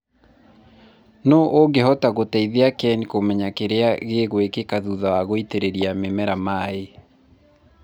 nũ ũngĩhota gũteithia Ken kũmenya kĩrĩa gĩgwĩkĩka thutha wa gũitĩrĩria mĩmeq maĩĩ?